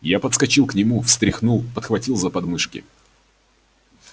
я подскочил к нему встряхнул подхватил за подмышки